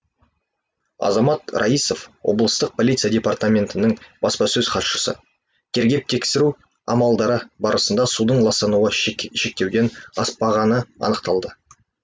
азамат раисов облыстық полиция департаментінің баспасөз хатшысы тергеп тексру амалдары барысында судың ластануы шектеуден аспағаны анықталды